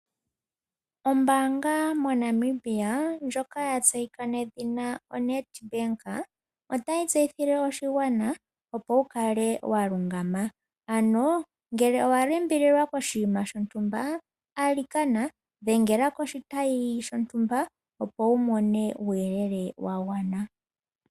Ombaanga moNamibia ndjoka ya tseyika nedhina NEDBANK otayi tseyithilwe oshigwana opo wu kale wa kotoka, ano ngele owa limbililwa koshinima shontumba alikana dhengela koshitayi shontumba opo wu money uuyelele was gwana.